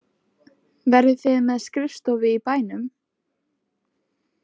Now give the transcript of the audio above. Verðið þið með skrifstofu í bænum?